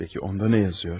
Bəki onda nə yazır?